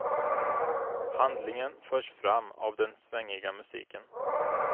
Handlingen förs fram av den svängiga musiken.